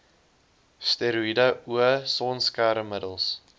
steroïede o sonskermmiddels